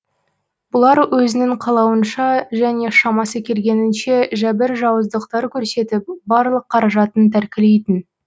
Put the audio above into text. бұлар өзінің қалауынша және шамасы келгенінше жәбір жауыздықтар көрсетіп барлық қаражатын тәркілейтін